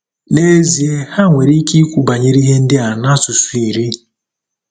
Nezie, ha nwere ike ikwu banyere ihe ndị a nasụsụ iri.